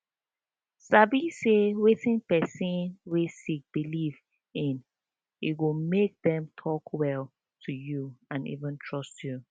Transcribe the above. sabi say wetin person wey sick believe in e go make them talk well to you and even trust you